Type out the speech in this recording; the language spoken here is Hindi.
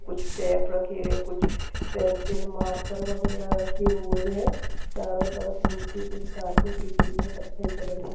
कुछ टेप रखे हैं कुछ पेंसिल मार्कर वगेरा रखे हुए हैं चारो तरफ नीचे कुछ कारपेट दिख रही हैं कथई कलर की।